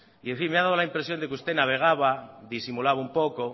y en fin me ha dado la impresión de que usted navegaba disimulaba un poco